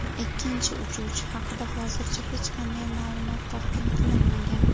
Ikkinchi uchuvchi haqida hozircha hech qanday ma’lumot taqdim qilinmagan.